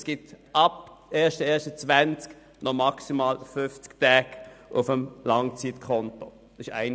Es wird ab dem 1. Januar 2020 noch maximal 50 Tage auf dem Langzeitkonto geben.